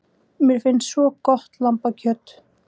Mér finnst svo gott lambakjöt.